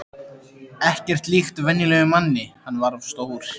Ekkert líkt venjulegum manni, hann var svo stór.